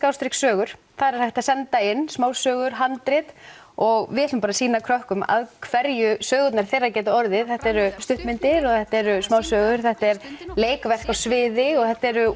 sögur þar er hægt að senda inn smásögur handrit og við ætlum bara að sýna krökkum að hverju sögurnar þeirra geta orðið þetta eru stuttmyndir þetta eru smásögur þetta eru leikverk á sviði og þetta eru